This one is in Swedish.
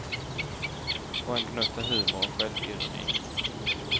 Och en gnutta humor och självironi.